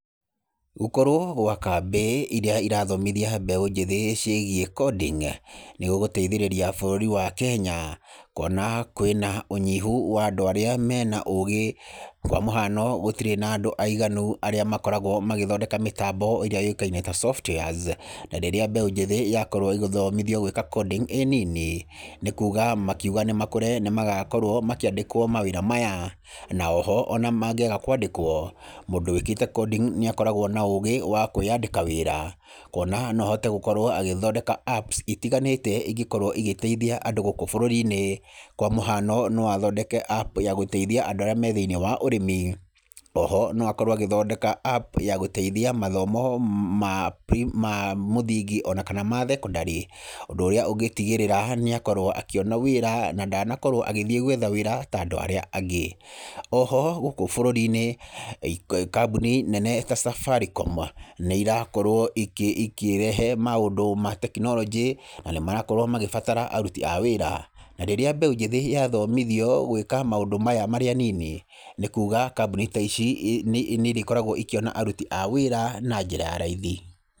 Gũkorwo gwa kambĩ iria irathomithia mbeũ njĩthĩ ciĩgiĩ coding nĩgũgũteithĩrĩria bũrũri wa Kenya kuona kwĩ na ũnyihu wa andũ arĩa me na ũũgĩ, kwa mũhano gũtirĩ na andũ aiganu arĩa makoragwo magĩthondeka mĩtambo ĩrĩa yũĩkaine ta softwares na rĩrĩa mbeũ njĩthĩ yakorwo ĩgĩthomithio gwĩka coding ĩĩ nini, nĩ kuuga makiuga nĩ makũre nĩ magakorwo makĩandĩkwo mawĩra maya, na o ho o na mangĩaga kwandĩkwo, mũndũ wĩkĩte coding nĩ akoragwo na ũũgĩ wa kwĩandĩka wĩra kuona no ahote gũkorwo agĩthondeka apps itiganĩte ingĩkorwo igĩteithia andũ gũkũ bũrũri-inĩ, kwa mũhano no athondeke apps ya gũteithia andũ arĩa me thĩinĩ wa ũrĩmi, o ho no akorwo agĩthondeka apps ya gũteithia mathomo ma muthingi o na kana ma thekondarĩ, ũndũ ũrĩa ũngĩtigĩrĩra nĩ akorwo akĩona wĩra na ndanakorwo agĩthiĩ gwetha wĩra ta andũ arĩa angĩ. O ho gũkũ bũrũri-inĩ kambuni nene ta Safaricom nĩ irakorwo ikĩrehe maũndũ ma tekinoronjĩ na nĩ marakorwo makĩbatara aruti a wĩra. Rĩrĩa mbeũ njĩthĩ yathomithio gwĩka maũndũ maya marĩ anini, nĩ kuuga kambuni ta ici nĩ irĩkoragwo ikĩona aruti a wĩra na njĩra ya raithi.